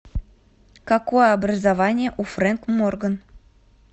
какое образование у фрэнк морган